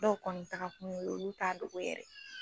Dɔw kɔni taaga kun ye olu t'a dogo yɛrɛ.